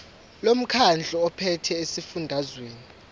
lomkhandlu ophethe esifundazweni